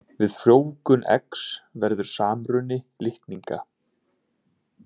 Við frjóvgun eggs verður samruni litninga.